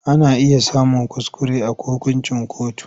Ana iya samun kuskure a hukuncin kotu.